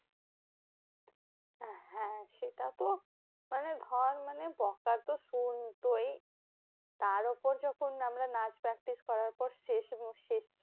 হ্যাঁ সেটা তো মানে ধর মানে বকা তো শুনতই। তার ওপর যখন mam রা নাচ practice করার পর শেষ শেষ